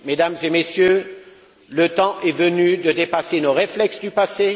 Mesdames et Messieurs, le temps est venu de dépasser nos réflexes du passé.